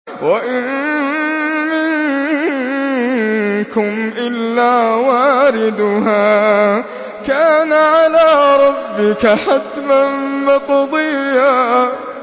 وَإِن مِّنكُمْ إِلَّا وَارِدُهَا ۚ كَانَ عَلَىٰ رَبِّكَ حَتْمًا مَّقْضِيًّا